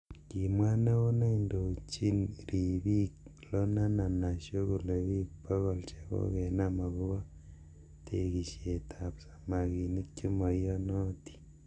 Kimwa neo neindojin ribik Loonena Naisho kole bik bokol chokokenam akobo tekishet ab samakinik. chemaiyonotin.